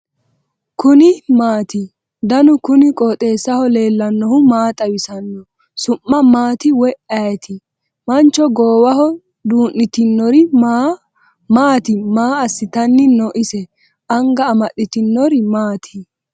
kuni maati ? danu kuni qooxeessaho leellannohu maa xawisanno su'mu maati woy ayeti ? mancho gooowaho duu'nitinori maati maa assitanni no ise anga amaddinori maati ?